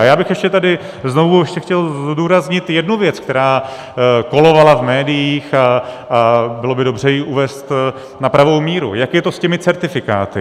A já bych ještě tady znovu chtěl zdůraznit jednu věc, která kolovala v médiích, a bylo by dobře ji uvést na pravou míru - jak je to s těmi certifikáty.